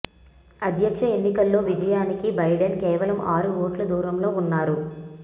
అధ్యక్ష ఎన్నికల్లో విజయానికి బైడెన్ కేవలం ఆరు ఓట్ల దూరంలో ఉన్నారు